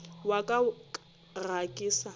wa ka ga ke sa